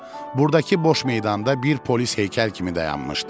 Burdakı boş meydanda bir polis heykəl kimi dayanmışdı.